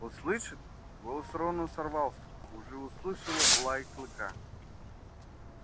услышит голос рона сорвался уже услышало лай клыка